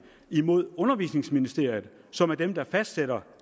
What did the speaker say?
mod undervisningsministeriet som er dem der fastsætter